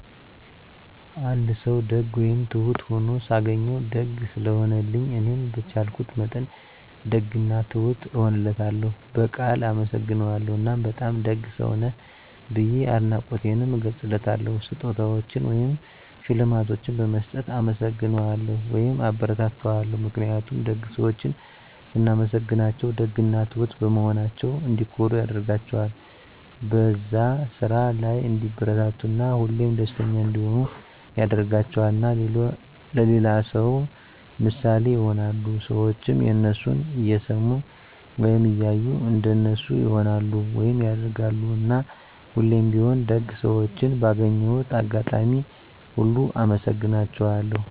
አንድ ሰዉ ደግ ወይም ትሁት ሁኖ ሳገኘዉ፤ ደግ ስለሆነልኝ እኔም በቻልኩት መጠን ደግ እና ትሁት እሆንለታለሁ፣ በቃል አመሰግነዋለሁ እና በጣም ደግ ሰዉ ነህ ብዬ አድናቆቴንም እገልፅለታለሁ። ስጦታዎችን ወይም ሽልማቶችን በመስጠት እናመሰግነዋለሁ (አበረታታዋለሁ) ። ምክንያቱም ደግ ሰዎችን ስናመሰግናቸዉ ደግ እና ትሁት በመሆናቸዉ እንዲኮሩ ያደርጋቸዋል፣ በዛ ስራ ላይ እንዲበረታቱ እና ሁሌም ደስተኛ እንዲሆኑ ያደርጋቸዋል። እና ለሌላ ሰዉ ምሳሌ ይሆናሉ። ሰዎችም የነሱን እየሰሙ ወይም እያዩ እንደነሱ ይሆናሉ (ያደርጋሉ)። እና ሁሌም ቢሆን ደግ ሰዎችን ባገኘሁት አጋጣሚ ሁሉ አመሰግናቸዋለሁ።